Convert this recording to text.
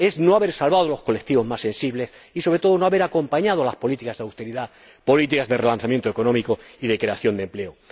Es no haber salvado a los colectivos más sensibles y, sobre todo, no haber acompañado las políticas de austeridad con políticas de relanzamiento económico y de creación de empleo.